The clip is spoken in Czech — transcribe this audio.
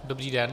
Dobrý den.